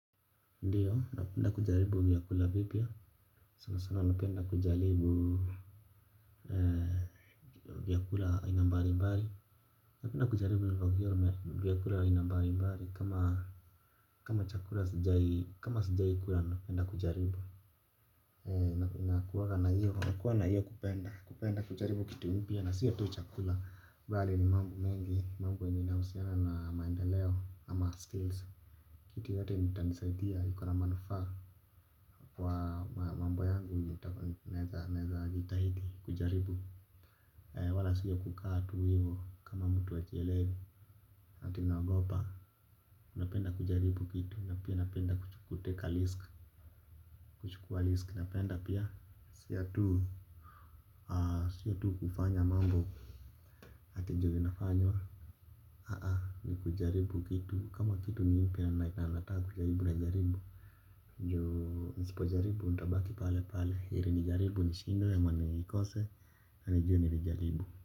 Ndiyo, napenda kujaribu vyakula vipya, sana sana napenda kujaribu vyakula aina mbarimbari. Napenda kujaribu vyakula aina mbarimbari kama chakula sijai kama sijai kula napenda kujaribu. Nakuwa na hiyo kupenda, kupenda kujaribu kitu mpya na siyo tu chakula bali ni mambtu mengi, mambo inayohusiana na maendeleo ama skills. Kitu yotote yenye itanisaidia iko na manufaa kwa mambo yangu nita naeza jitahidi kujaribu. Wala siyo kukaa tu hivo kama mtu hajielewi. Ati naogopa napenda kujaribu kitu na pia napenda kutake a lisk. Kuchukua lisk napenda pia. Siyo tu siyo tu kufanya mambo. Ati juu inafanywa. Haa ni kujaribu kitu kama kitu ni mpya na nataka kujaribu najaribu juu nisipojaribu, ntabaki pale pale, iri nijaribu nishindwe ama nikose, nijue nilijaribu.